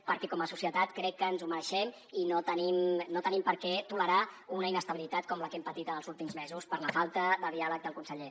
perquè com a societat crec que ens ho mereixem i no tenim per què tolerar una inestabilitat com la que hem patit en els últims mesos per la falta de diàleg del conseller